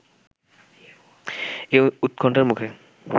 এ উৎকণ্ঠার মুখে